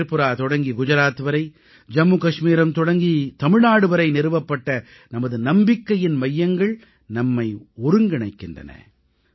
த்ரிபுரா தொடங்கி குஜராத் வரை ஜம்மு கச்மீரம் தொடங்கி தமிழ்நாடு வரை நிறுவப்பட்ட நமது நம்பிக்கையின் மையங்கள் நம்மை ஒருங்கிணைக்கின்றன